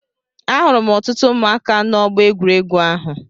Ahụrụ m ọtụtụ ụmụaka na-Ọgbọ egwuregwu ahụ.